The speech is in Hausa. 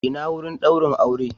Ina wurin daurin aure?